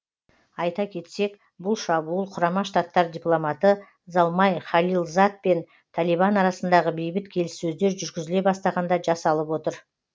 айта кетсек бұл шабуыл құрама штаттар дипломаты залмай халилзад пен талибан арасындағы бейбіт келіссөздер жүргізіле бастағанда жасалып отыр